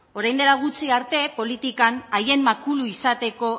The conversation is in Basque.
orain dela gutxi arte politikan haien makulu izateko